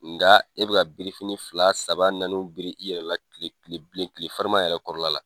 Nka e bɛ ka birifinin fila saba naaniw biri i yɛrɛ la kile kile bile, kile farima yɛrɛ kɔrɔ la la.